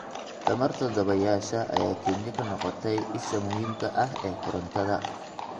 Tamarta dabaysha ayaa Kenya ka noqotay isha muhiimka ah ee korontada.